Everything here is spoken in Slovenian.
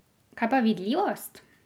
Kaj pa vidljivost?